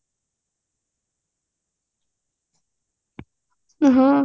ହଁ